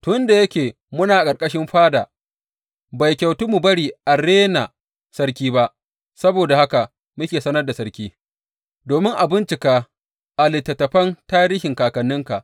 Tun da yake muna ƙarƙashin fada, bai kyautu mu bari a rena sarki ba, Saboda haka muke sanar da sarki, domin a bincika a littattafan tarihin kakanninka.